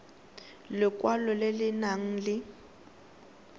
lekwalo le le nang le